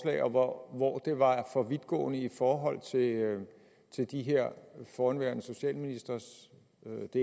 og hvor det var for vidtgående i forhold til det som de her forhenværende socialministre siger og det